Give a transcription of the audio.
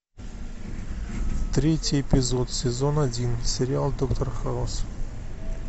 третий эпизод сезон один сериал доктор хаус